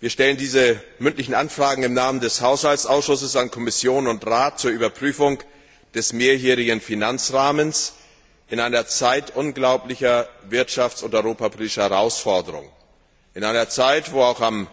Wir stellen diese mündlichen Anfragen im Namen des Haushaltsausschusses an Kommission und Rat zur Überprüfung des mehrjährigen Finanzrahmens in einer Zeit unglaublicher wirtschafts und europapolitischer Herausforderungen, in einer Zeit, wo am